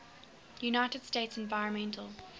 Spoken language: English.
united states environmental